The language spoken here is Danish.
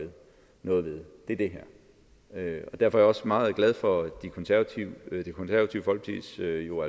noget ved er det her og derfor er jeg også meget glad for at det konservative folkeparti jo